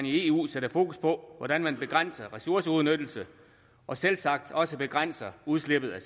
i eu sættes fokus på hvordan man begrænser ressourceudnyttelsen og selvsagt også begrænser udslippet af